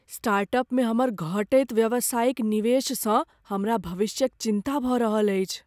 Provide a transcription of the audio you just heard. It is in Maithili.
स्टार्टअपमे हमर घटैत व्यावसायिक निवेशसँ हमरा भविष्यक चिन्ता भऽ रहल अछि।